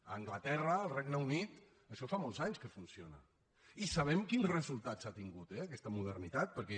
a anglaterra al regne unit això fa molts anys que funciona i sabem quins resultats ha tingut eh aquesta modernitat perquè